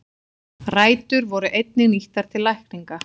Rætur voru einnig nýttar til lækninga.